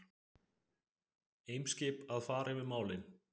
Eimskip að fara yfir málin